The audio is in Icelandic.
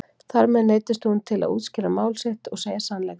Þar með neyddist hún til að útskýra mál sitt og segja sannleikann.